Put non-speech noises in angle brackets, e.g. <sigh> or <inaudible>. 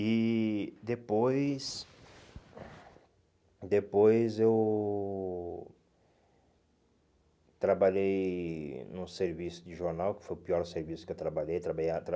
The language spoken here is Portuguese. E depois... Depois eu... Trabalhei no serviço de jornal, que foi o pior serviço que eu trabalhei. trabalhei <unintelligible>